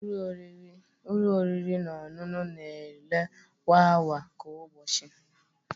Ụlọ oriri na ọṅụṅụ na-ere kwa awa nke ụbọchị